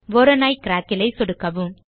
Voronoi கிராக்கில் ஐ சொடுக்கவும்